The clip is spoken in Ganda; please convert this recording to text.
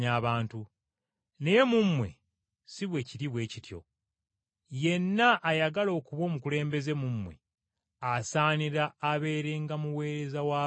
naye mu mmwe si bwe kiri bwe kityo. Yenna ayagala okuba omukulembeze mu mmwe, asaanira abeerenga muweereza wa banne.